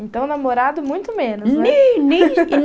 Então, namorado muito menos, né? Nem nem